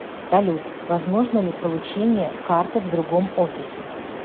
салют возможно ли получение карты в другом офисе